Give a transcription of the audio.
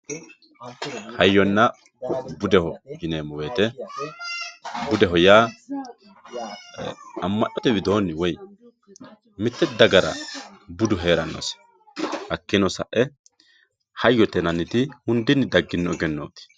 hayyonna budeho yineemmo woyiite budeho yaa amma'note widoonni woy mitte dagara budu heerannose hakkiino sa"e hayyote yinanniti hundinni daggino egennooti.